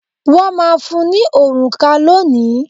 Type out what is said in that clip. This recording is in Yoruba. Wọ́n máa fún ní òrùka lónìí.